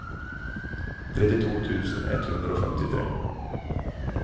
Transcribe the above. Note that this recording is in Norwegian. trettito tusen ett hundre og femtitre